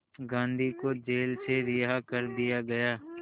गांधी को जेल से रिहा कर दिया गया